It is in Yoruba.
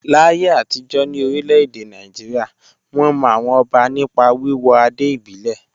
Láyé àtijọ́ ní orílẹ̀-èdè Nàìjíríà, wọ́n mọ àwọn ọba nípa wíwọ adé ìbílẹ̀.